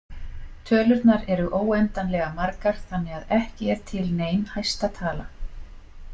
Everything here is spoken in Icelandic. Tölurnar eru óendanlega margar þannig að ekki er til nein hæsta tala.